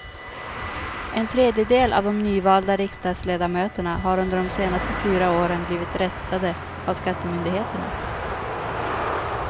En tredjedel av de nyvalda riksdagsledamöterna har under de senaste fyra åren blivit rättade av skattemyndigheterna.